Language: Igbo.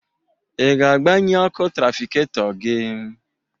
Ị ga-agbanye ọkụ trafiketọ gị?